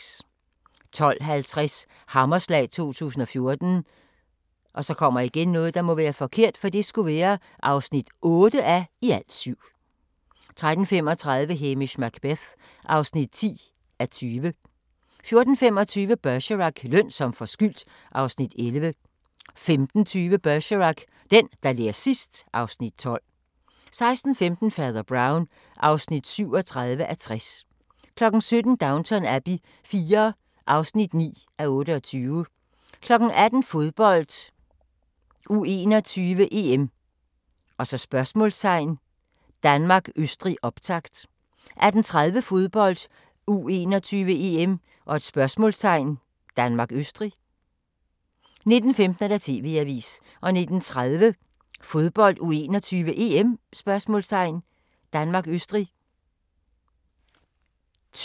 12:50: Hammerslag 2014 (8:7) 13:35: Hamish Macbeth (10:20) 14:25: Bergerac: Løn som forskyldt (Afs. 11) 15:20: Bergerac: Den, der ler sidst ... (Afs. 12) 16:15: Fader Brown (37:60) 17:00: Downton Abbey IV (9:28) 18:00: Fodbold: U21-EM ? Danmark-Østrig, optakt 18:30: Fodbold: U21-EM ? Danmark-Østrig 19:15: TV-avisen 19:30: Fodbold: U21-EM ? Danmark-Østrig